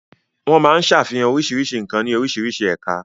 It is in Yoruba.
Wọ́n máa ń ṣàfihàn oríṣiríṣi nǹkan ní oríṣiríṣi ẹ̀ka.